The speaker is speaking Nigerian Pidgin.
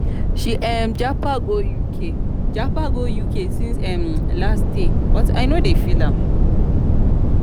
she um been japa go uk japa go uk since um last um year but i no dey feel am.